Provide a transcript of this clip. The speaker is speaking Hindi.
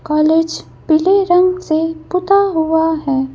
कॉलेज पीले रंग से पुता हुआ है।